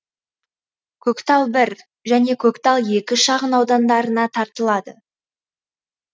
көктал бір және көктал екі шағын аудандарына тартылады